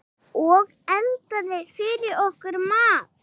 Og eldaði fyrir okkur mat.